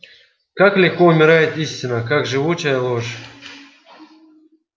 как легко умирает истина как живуча ложь